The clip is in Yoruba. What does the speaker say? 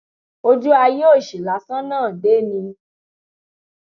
ojú ayé òṣì lásán náà dé ni